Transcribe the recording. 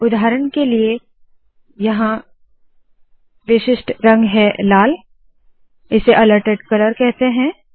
उदाहरण के लिए यहाँ विशिष्ट रंग है लाल इसे अलर्टेड कलर कहते है